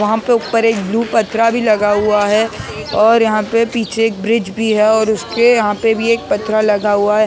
वहाँ पे ऊपर एक ब्लू पथरा भी लगा हुआ है और यहाँ पे पीछे एक ब्रिज भी है और उसके यहाँ पे भी एक पथरा लगा हुआ है ये--